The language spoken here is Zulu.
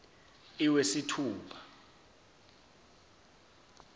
iwesithupha